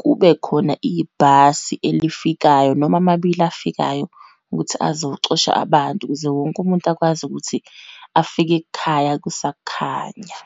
kubekhona ibhasi elifikayo, noma amabili afikayo, ukuthi azocosha abantu, ukuze wonke umuntu akwazi ukuthi afike ekhaya kusakhanya.